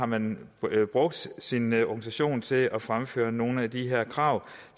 man har brugt sin organisation til at fremføre nogle af de her krav